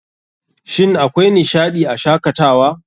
Shin akwai nishaɗii a Shakatawa?